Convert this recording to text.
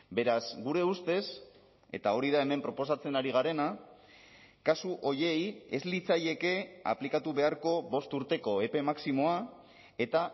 beraz gure ustez eta hori da hemen proposatzen ari garena kasu horiei ez litzaieke aplikatu beharko bost urteko epe maximoa eta